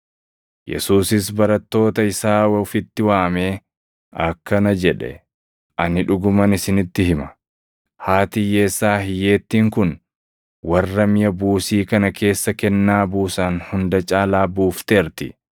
Yesuusis barattoota isaa ofitti waamee akkana jedhe; “Ani dhuguman isinitti hima; haati hiyyeessaa hiyyeettiin kun warra miʼa buusii kana keessa kennaa buusan hunda caalaa buufteerti.